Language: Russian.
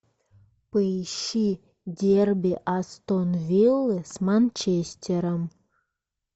поищи дерби астон виллы с манчестером